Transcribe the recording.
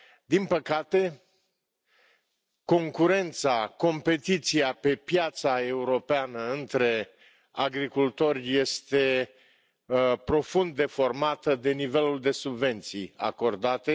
Din păcate, concurența, competiția pe piața europeană între agricultori este profund deformată de nivelul de subvenții acordate.